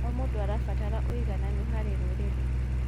O mũndũ arabatara ũigananu harĩ rũrĩrĩ.